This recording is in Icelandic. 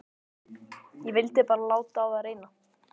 Ég vildi bara láta á það reyna.